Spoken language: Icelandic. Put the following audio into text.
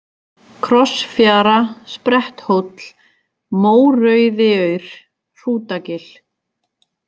Krossfjara, Spretthóll, Mórauðiaur, Hrútagil